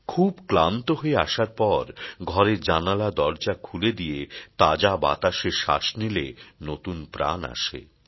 খুব ক্লান্ত হয়ে আসার পর ঘরের জানলা দরজা খুলে দিয়ে তাজা বাতাসে শ্বাস নিলে নতুন প্রাণ আসে